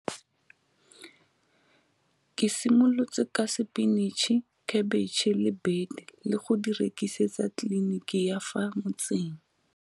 Ke simolotse ka sepinitšhi, khebetšhe le bete le go di rekisetsa kliniki ya fa motseng.